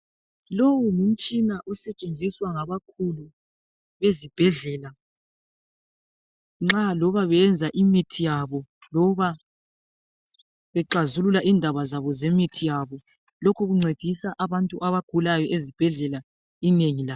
Lowu ngumsthina osetshenziswa ngabakhulu bezibhedlela nxa loba beyenza imithi yabo loba bexazulula indaba zabo zemithi yabo, lokhu kuncedisa abantu abagulayo ezibhedlela inengi labo.